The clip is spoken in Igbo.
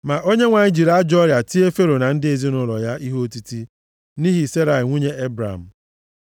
Ma Onyenwe anyị jiri ajọọ ọrịa tie Fero na ndị ezinaụlọ ya ihe otiti nʼihi Serai nwunye Ebram.